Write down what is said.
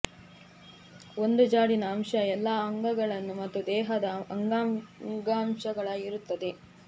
ಒಂದು ಜಾಡಿನ ಅಂಶ ಎಲ್ಲ ಅಂಗಗಳನ್ನು ಮತ್ತು ದೇಹದ ಅಂಗಾಂಶಗಳ ಇರುತ್ತದೆ